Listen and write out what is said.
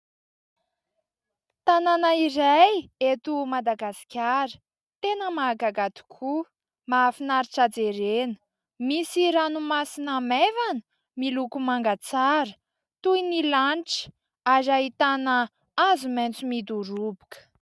Tanàna iray eto Madagasikara, tena mahagaga tokoa, mahafinaritra jerena. Misy ranomasina maivana, miloko manga tsara toy ny lanitra ary ahitana hazo maitso midoroboka.